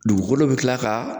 Dugukolo bi kila ka